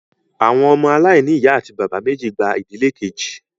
Àwọn ọmọ aláìní ìyá àti bàbá méjì gba ìdílé kejì